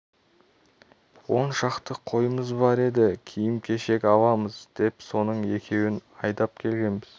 он шақты қойымыз бар еді киім-кешек аламыз деп соның екеуін айдап келгенбіз